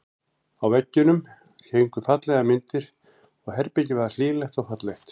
Á veggjunum héngu fallegar myndir og herbergið var hlýlegt og fallegt.